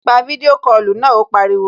Pa fídíò kọlù náà, ó pariwo